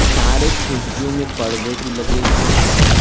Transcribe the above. सारे खिड़कियों में पर्दे भी लगे हुए है।